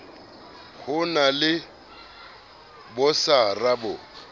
ho na le bosara bo